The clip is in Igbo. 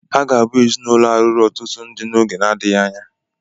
Ha ga-abụ ezinụlọ a lụrụ ọtụtụ dị n'oge na-adịghị anya.